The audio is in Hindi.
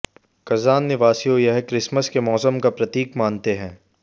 कज़ान निवासियों यह क्रिसमस के मौसम का प्रतीक मानते हैं